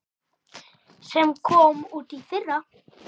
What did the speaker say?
sem kom út í fyrra.